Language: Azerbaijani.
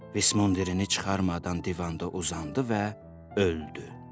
Vismundirini çıxarmadan divanda uzandı və öldü.